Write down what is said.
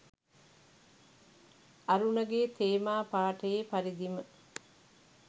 අරුණගේ තේමා පාඨයේ පරිදිම